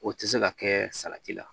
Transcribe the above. O tɛ se ka kɛ salati la